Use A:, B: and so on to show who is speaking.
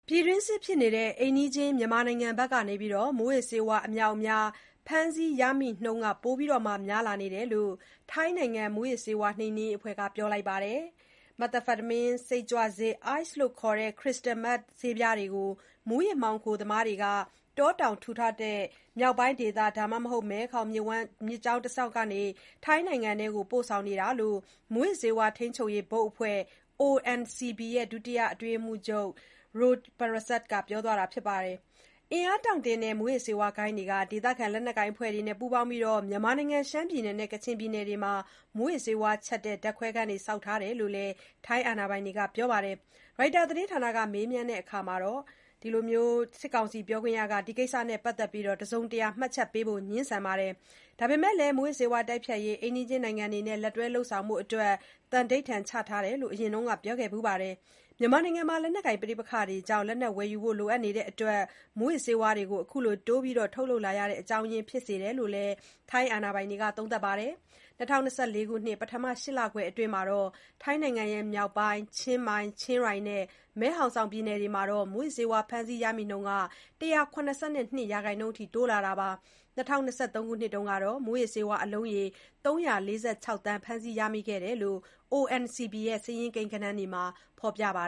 A: ပြည်တွင်းစစ်ဖြစ်နေတဲ့ အိမ်နီးချင်း မြန်မာနိုင်ငံဘက်ကနေ မူးယစ်ဆေးဝါး အမြောက်အများ ဖမ်းဆီးရမိနှုန်း ပိုများလာတယ်လို့ ထိုင်းနိုင်ငံမူးယစ်ဆေးဝါးနှိမ်နင်းရေးအဖွဲ့က ပြောလိုက်ပါတယ်။ Methamphetamine စိတ်ကြွဆေးနဲ့ Ice လို့လည်း သိကြတဲ့ Crystal Meth ဆေးပြားတွေကို မူးယစ်မှောင်ခိုသမားတွေက တောတောင်ထူထပ်တဲ့ မြောက်ပိုင်းဒေသ ဒါမှမဟုတ် မဲခေါင် မြစ်ကြောင်းနေတဆင့် ထိုင်းနိုင်ငံအတွင်းကို ပို့ဆောင်နေတာလို့ မူးယစ်ဆေးဝါးထိန်းချုပ်ရေး ဘုတ်အဖွဲ့ ONCB ဒုတိယ အတွင်းရေးမှူးချုပ် Apikit Ch. Rojprasert က ပြောပါတယ်။ အင်အားတောင့်တင်းတဲ့ မူးယစ်ဆေးဝါးဂိုဏ်းတွေဟာ ဒေသခံ လက်နက်ကိုင်အဖွဲ့တွေနဲ့ ပူးပေါင်းပြီး မြန်မာနိုင်ငံ ရှမ်းပြည်နယ်နဲ့ ကချင်ပြည်နယ်တွေမှာ မူးယစ်ဆေးဝါးချက်တဲ့ ဓါတ်ခွဲခန်းတွေ ဆောက်ထားကြတယ်လို့လည်း ထိုင်းအာဏာပိုင်တွေက ပြောပါတယ်။ ရိုက်တာသတင်းဌာနက မေးမြန်းရာမှာ စစ်ကောင်စီပြောခွင့်ရကတော့ ဒီကိစ္စနဲ့ ပတ်သတ်ပြီး တစုံတရာ မှတ်ချက် ပေးဖို့ ငြင်းဆိုပါတယ်။ ဒါပေမယ့်လည်း မူးယစ်ဆေးဝါးတိုက်ဖျက်ရေး အိမ်နီးချင်းနိုင်ငံတွေနဲ့ လက်တွဲဆောင်ရွက်ဖို့ သံဓိဌာန်ချထားတယ်လို့ အရင်က ပြောခဲ့ဘူးပါတယ်။ မြန်မာနိုင်ငံမှာ လက်နက်ကိုင် ပဋိပက္ခတွေကြောင့် လက်နက်ဝယ်ယူဖို့လိုအပ်တာဟာ မူးယစ်ဆေးဝါးတိုးပြီး ထုတ်လုပ်လာရတဲ့ အကြောင်းရင်း ဖြစ်တယ်လို့လည်း ထိုင်းအာဏာပိုင်တွေက သုံးသပ်ပါတယ်။ ၂၀၂၄ ခုနှစ် ပထမ ၈ လခွဲအတွင်း ထိုင်းနိုင်ငံ မြောက်ပိုင်း ချင်းမိုင်၊ ချင်းရိုင်နဲ့ မဲ့ဟောင်ဆောင် ပြည်နယ်တွေမှာ မူးယစ်ဆေးဝါး ဖမ်းဆီးရမိနှုန်း ၁၇၂ ရာခိုင်နှုန်းတိုးလာတာပါ။ ၂၀၂၃ ခုနှစ်တုန်းကတော့ မူယစ်ဆေးဝါးအလုံးရေ ၃၄၆ သန်း ဖမ်းဆီးရမိခဲ့တယ်လို့ ONCB စာရင်းကိန်းဂဏန်းတွေမှာ ဖော်ပြထားပါ